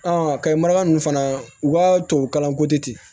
kayi mara ninnu fana u ka tubabukalan ko tɛ ten